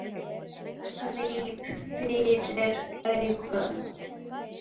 Ég gríp fyrir augun.